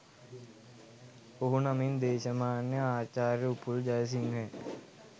ඔහු නමින් දේශමාන්‍ය ආචාර්ය උපුල් ජයසිංහය